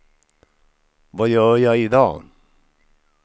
vad gör jag idag